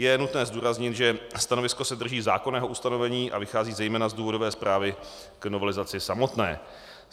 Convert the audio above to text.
Je nutné zdůraznit, že stanovisko se drží zákonného ustanovení a vychází zejména z důvodové zprávy k novelizaci samotné.